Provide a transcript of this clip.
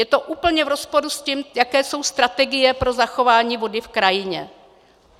Je to úplně v rozporu s tím, jaké jsou strategie pro zachování vody v krajině.